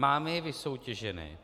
Máme je vysoutěžené?